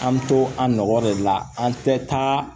An mi to an nɔgɔ de la an tɛ taa